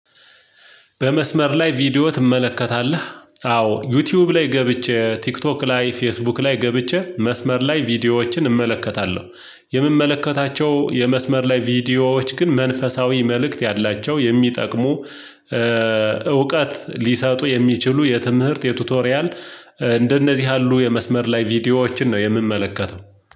በመስመር ላይ ቪዲዮ ትመለከታለህ? አዎ ዩቲዩብ ላይ ገብቼ ቲክቶክ ላይ ፌስቡክ ላይ ገብቼ መስመር ላይ ቪዲዮዎችን እመለከታለሁ። የምመለከታቸው የመስመር ላይ ቪዲዮዎች ግን መንፈሳዊ መልእክት ያላቸው የሚጠቅሙ እውቀት ሊሰጡ የሚችሉ የትምህርት የቱቶሪያል እንደነዚህ ያሉ የመስመር ላይ ቪዲዮዎችን ነው የምንመለከተው።